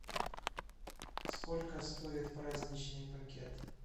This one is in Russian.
сколько стоит праздничный пакет